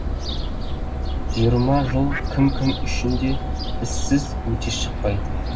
жиырма жыл кім кім үшін де ізсіз өте шықпайды